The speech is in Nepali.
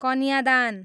कन्यादान